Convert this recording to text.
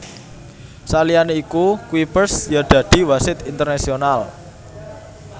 Saliyané iku Kuipers ya dadi wasit internasional